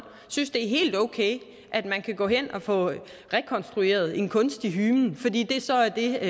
synes det er helt okay at man kan gå hen og få rekonstrueret en kunstig hymen fordi det så er det